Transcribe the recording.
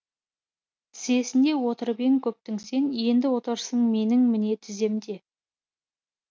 тізесінде отырып ең көптің сен енді отырсың менің міне тіземде